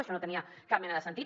això no tenia cap mena de sentit